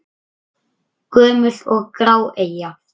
Gömul og grá eyja?